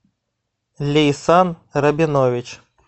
лейсан рабинович